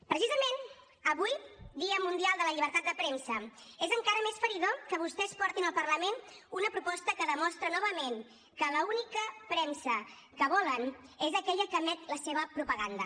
precisament avui dia mundial de la llibertat de premsa és encara més feridor que vostès portin al parlament una proposta que demostra novament que l’única premsa que volen és aquella que emet la seva propaganda